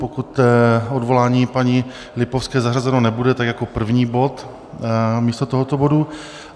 Pokud odvolání paní Lipovské zařazeno nebude, tak jako první bod místo tohoto bodu.